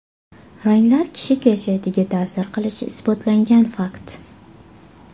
Ranglar kishi kayfiyatiga ta’sir qilishi isbotlangan fakt.